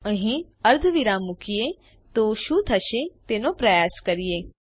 અહીં અર્ધવિરામ મૂકીએ તો શું થશે તેનો પ્રયાસ કરીએ